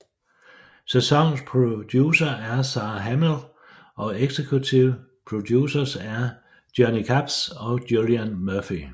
Sæsonens producer er Sara Hamill og executive producers er Johnny Capps og Julian Murphy